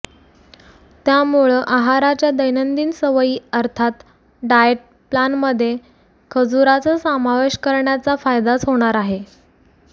त्यामुळं आहाराच्या दैनंदिन सवयी अर्थात डाएय प्लानमध्ये खजुराचा समावेश करण्याचा फायदाच होणार आहे